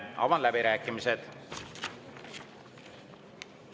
Avan läbirääkimised.